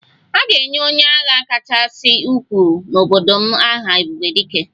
A ga-enye onye agha kachasị ukwuu n'obodo m aha 'ebube dike'